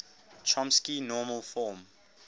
chomsky normal form